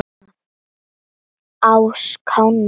á Skáni.